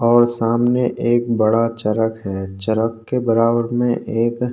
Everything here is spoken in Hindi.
और सामने एक बड़ा चरक है चरक के बराबर में एक--